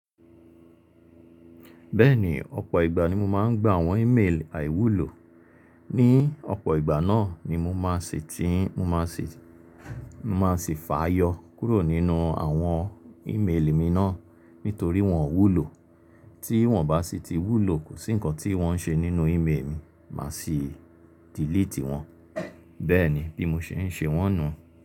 Bẹ́ẹ̀ni ọ̀pọ̀ ìgbà ni mo máa ń gba àwọn email àìwúlò. Ni ọ̀pọ̀ ìgbà náà ni mo máa ṣè ti, mo máa ṣè, mo máa ṣì fà yọ kúrò nínú àwọn email mi náà nítorí wọ́n ò wúlò. Tí wọ́n bá sì ti wúlò kò sí nǹkan tí wọ́n ṣe nínú email mi máa sì delete wọ́n. Bẹ́ẹ̀ni bí mo ṣe ń ṣe wọ́n nu.